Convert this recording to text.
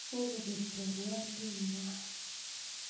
kokobeek chorwandingwai